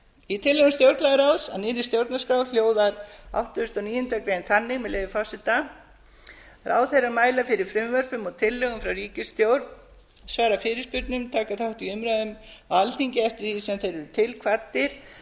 í tillögum stjórnlagaráðs að nýrri stjórnarskrá hljóða áttugasta og níundu grein þannig með leyfi forseta ráðherrar mæla fyrir frumvörpum og tillögum frá ríkisstjórn svara fyrirspurnum og taka þátt í umræðum á alþingi eftir því sem þeir eru til kvaddir